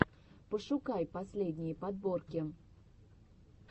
пошукай последние подборки